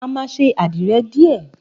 A má sé àdíre dìé